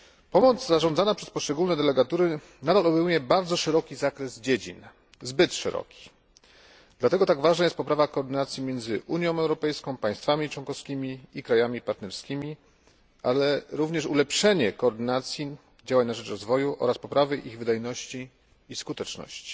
Pomoc zarządzana przez poszczególne delegatury nadal obejmuje bardzo szeroki zakres zbyt szerokich dziedzin. Dlatego tak ważna jest poprawa koordynacji między Unią Europejską, państwami członkowskimi i krajami partnerskimi, ale i również ulepszenie koordynacji działań na rzecz rozwoju oraz poprawy ich wydajności i skuteczności.